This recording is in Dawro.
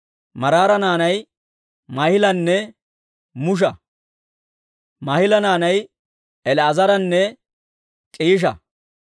Maraara naanay Maahilanne Musha. Maahila naanay El"aazaranne K'iisha.